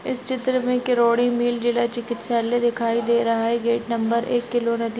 इस चित्र में किरोड़ीमल जिला चिकित्सालय दिखाई दे रहा है गेट नंबर एक केलो नदी --